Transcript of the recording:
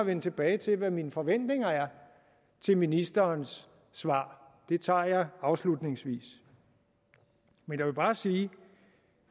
vende tilbage til hvad mine forventninger er til ministerens svar det tager jeg afslutningsvis jeg vil bare sige